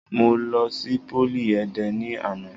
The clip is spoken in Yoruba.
Mo lọ sí pólì Ẹdẹ ni àná.